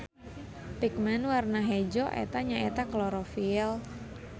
Pigmen warna hejo eta nya eta klorofil.